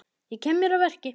Ég kem mér að verki.